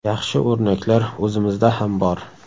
Yaxshi o‘rnaklar o‘zimizda ham bor.